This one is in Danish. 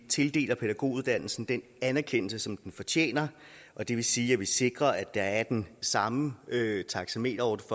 tildeler pædagoguddannelsen den anerkendelse som den fortjener og det vil sige at man sikrer at der er den samme taxameterordning